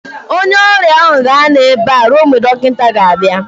onye ọrịa ahụ ga-anọ ebe a ruo mgbe dọkịta ga-abịa